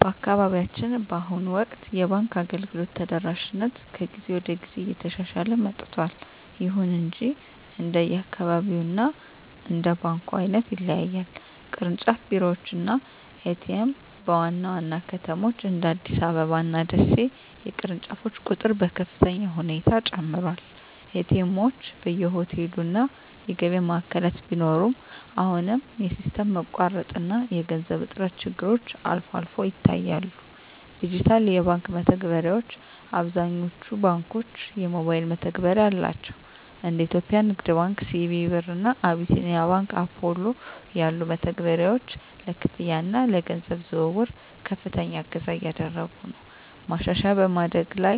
በአካባቢያችን በአሁኑ ወቅት የባንክ አገልግሎት ተደራሽነት ከጊዜ ወደ ጊዜ እየተሻሻለ መጥቷል። ይሁን እንጂ እንደየአካባቢው እና እንደ ባንኩ ዓይነት ይለያያል። ቅርንጫፍ ቢሮዎች እና ኤ.ቲ.ኤም (ATM): በዋና ዋና ከተሞች (እንደ አዲስ አበባ እና ደሴ) የቅርንጫፎች ቁጥር በከፍተኛ ሁኔታ ጨምሯል። ኤ.ቲ. ኤምዎች በየሆቴሉ እና የገበያ ማዕከላት ቢኖሩም፣ አሁንም የሲስተም መቋረጥ እና የገንዘብ እጥረት ችግሮች አልፎ አልፎ ይታያሉ። ዲጂታል የባንክ መተግበሪያዎች: አብዛኞቹ ባንኮች የሞባይል መተግበሪያ አላቸው። እንደ የኢትዮጵያ ንግድ ባንክ (CBE Birr) እና አቢሲኒያ ባንክ (Apollo) ያሉ መተግበሪያዎች ለክፍያ እና ለገንዘብ ዝውውር ከፍተኛ እገዛ እያደረጉ ነው። ማሻሻያ በማደግ ላይ